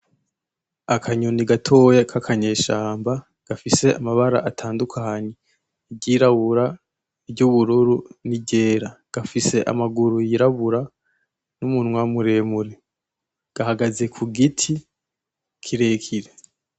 Akanyoni gatoya kakanyeshamba gafise amabara atandukanye iry'irabura iry'ubururu n'iryera gafise amaguru yirabura n'umunwa muremure gahagaze kugiti kirekire.